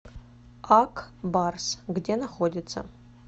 ак барс где находится